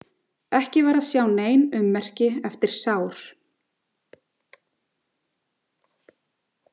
Ekki var að sjá nein ummerki eftir sár.